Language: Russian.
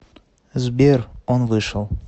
сбер он вышел